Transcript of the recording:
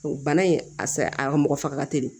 Bana in a sa a mɔgɔ faga teli